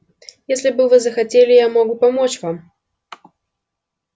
если бы вы захотели я мог бы помочь вам